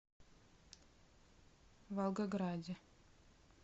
волгограде